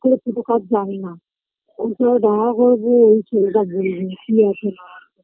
করে দুটো কাজ জানি না ওর যা রাগ হয়েছে এই ছেলেটা কি আছে না আছে